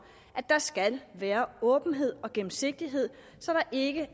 at der skal være åbenhed og gennemsigtighed så der ikke